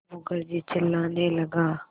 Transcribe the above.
मुखर्जी चिल्लाने लगा